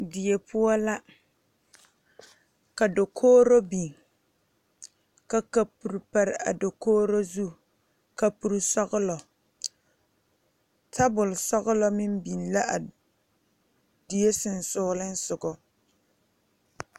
Diebpoɔ la ka dokogro biŋ ka kapure pare a dokogro zu kapure sɔglɔ tabol sɔglɔ meŋ biŋ la a die seŋsugliŋsugɔ.